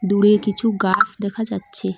দূরে কিছু গাছ দেখা যাচ্ছে।